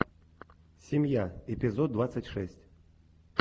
семья эпизод двадцать шесть